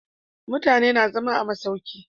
Mutanen na zama a masauki